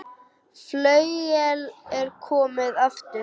Flauel er komið aftur.